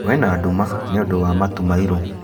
Kwĩna nduma nĩũndũ wa matu mairũ